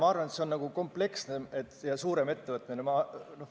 Ma arvan, et see peaks olema kompleksne ja suurem ettevõtmine.